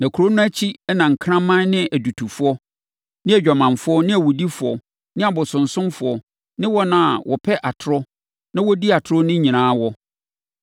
Na Kuro no akyi na nkraman ne adutofoɔ ne adwamanfoɔ ne awudifoɔ ne abosonsomfoɔ ne wɔn a wɔpɛ atorɔ na wɔdi atorɔ no nyinaa wɔ.